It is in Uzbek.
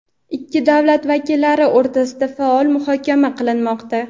ikki davlat vakillari o‘rtasida faol muhokama qilinmoqda.